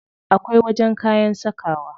Akwai wajen kayan sakawa.